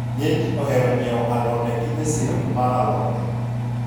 ng'enyji ohero nyiewo alode gi e sirni mar alode